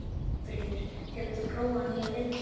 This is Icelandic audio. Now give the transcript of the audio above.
Svanfríður, hefur þú prófað nýja leikinn?